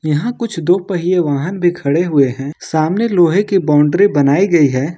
यहां कुछ दो पहिए वाहन भी खड़े हुए हैं सामने लोहे के बाउंड्री बनाई गई है।